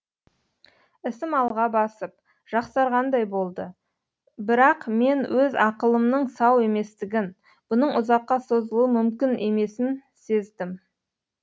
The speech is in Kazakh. ісім алға басып жақсарғандай болды бірақмен өз ақылымның сау еместігін бұның ұзаққа созылуы мүмкін емесін сездім